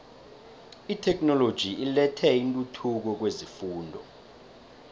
itheknoloji ilethe intuthuko kwezefundo